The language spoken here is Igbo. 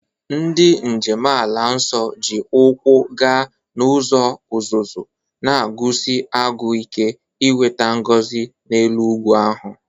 Ndị njem ala nsọ ji ụkwụ gaa n'ụzọ uzuzu, na-agụsi agụụ ike inweta ngọzi n'elu ugwu ahụ.